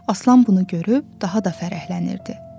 Aslan bunu görüb daha da fərəhlənirdi.